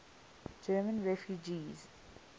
german refugees